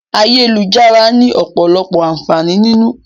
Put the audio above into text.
Ayélujára ni ọ̀pọ̀lọpọ̀ àǹfààní nínú.